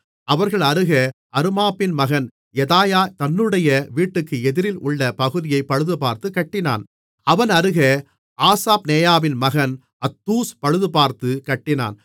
அவர்கள் அருகே அருமாப்பின் மகன் யெதாயா தன்னுடைய வீட்டுக்கு எதிரில் உள்ள பகுதியைப் பழுதுபார்த்துக் கட்டினான் அவன் அருகே ஆசாப்நெயாவின் மகன் அத்தூஸ் பழுதுபார்த்துக் கட்டினான்